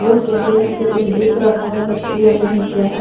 Road के आगे यहां पे कुछ दिख रहा है बट क्लियर नहीं है क्या है।